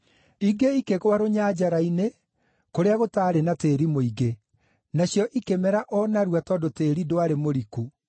Ingĩ ikĩgũa rũnyanjara-inĩ kũrĩa gũtaarĩ na tĩĩri mũingĩ. Nacio ikĩmera o narua tondũ tĩĩri ndwarĩ mũriku.